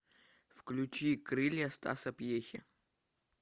включи крылья стаса пьехи